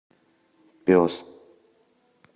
пес